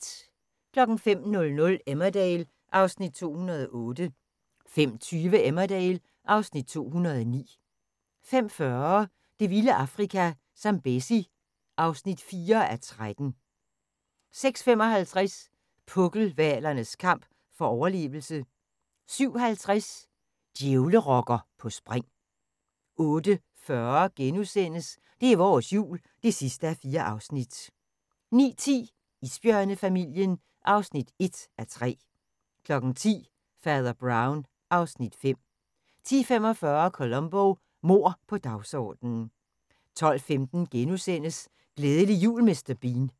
05:00: Emmerdale (Afs. 208) 05:20: Emmerdale (Afs. 209) 05:40: Det vilde Afrika – Zambezi (4:13) 06:55: Pukkelhvalernes kamp for overlevelse 07:50: Djævlerokker på spring 08:40: Det er vores Jul (4:4)* 09:10: Isbjørnefamilien (1:3) 10:00: Fader Brown (Afs. 5) 10:45: Columbo: Mord på dagsordenen 12:15: Glædelig jul Mr. Bean *